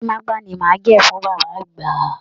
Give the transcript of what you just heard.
Gorímaápá ni màá gẹ̀ fún bàbá àgbà